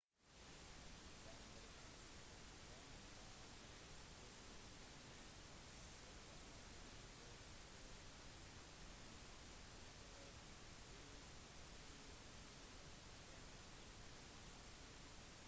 den amerikanske planen var nødt til å kunne sette i gang koordinerte angrep fra 3 ulike retninger